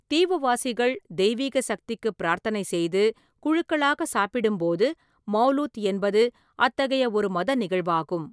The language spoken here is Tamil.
தீவுவாசிகள் தெய்வீக சக்திக்கு பிரார்த்தனை செய்து, குழுக்களாக சாப்பிடும்போது மௌலூத் என்பது அத்தகைய ஒரு மத நிகழ்வாகும்.